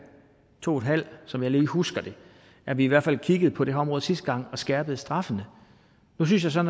to en halv år som jeg lige husker det at vi i hvert fald kiggede på det her område sidste gang og skærpede straffene nu synes jeg så